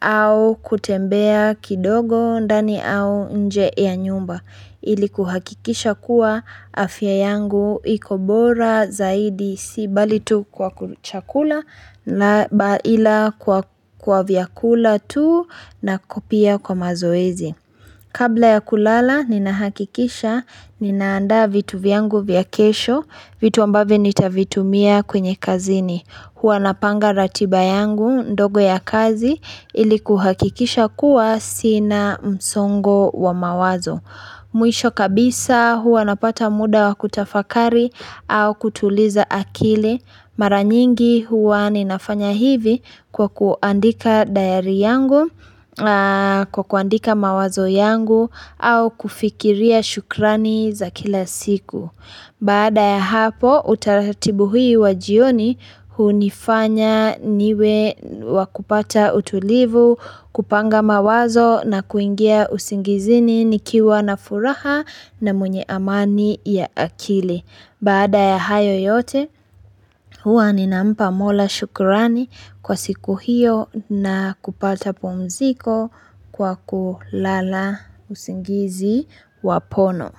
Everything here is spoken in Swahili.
au kutembea kidogo ndani au nje ya nyumba Ili kuhakikisha kuwa afya yangu ikobora zaidi si bali tu kwa kuchakula ila kwa vyakula tu na kopia kwa mazoezi. Kabla ya kulala nina hakikisha ninaanda vitu vyangu vyakesho vitu ambavyo nitavitumia kwenye kazini. Huwa napanga ratiba yangu ndogo ya kazi ili kuhakikisha kuwa sina msongo wa mawazo. Mwisho kabisa huwa napata muda wakutafakari au kutuliza akili maranyingi huwa ninafanya hivi kwa kuandika dayari yangu, kwa kuandika mawazo yangu au kufikiria shukrani za kila siku. Bada ya hapo utaratibu hui wajioni hunifanya niwe wakupata utulivu, kupanga mawazo na kuingia usingizini nikiwa na furaha na mwenye amani ya akili. Bada ya hayo yote hua ninampa mola shukurani kwa siku hiyo na kupata pumziko kwa kulala usingizi wapono.